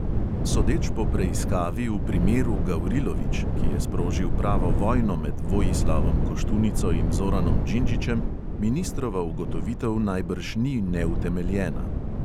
Sodeč po preiskavi v "primeru gavrilović", ki je sprožil pravo vojno med vojislavom koštunico in zoranom džindžićem, ministrova ugotovitev najbrž ni neutemljena.